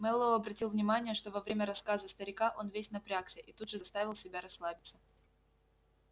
мэллоу обратил внимание что во время рассказа старика он весь напрягся и тут же заставил себя расслабиться